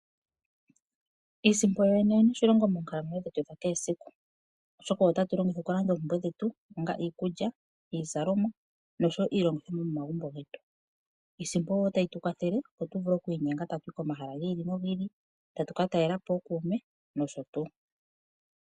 Iisimpo yoyene oyina oshilonga moonkalamwenyo dhetu dhakehe esiku oshoka oyo tatu longitha okulanda oompumnwe dhetu ngaashi iikulya , iizalomwa nosho wo iilongithomwa yomomagumbo getu. Iisimpo otayi tu kwathele opo tu vule oku inyenga ta tu yi komahala gi ili nogi ili tatu ku ka talelapo ookuume nosho tuu.